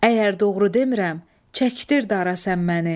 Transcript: Əgər doğru demirəm, çəkdir dara sən məni.